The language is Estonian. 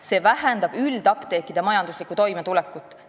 See vähendab üldapteekide majanduslikku toimetulekut.